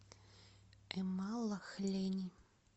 эмалахлени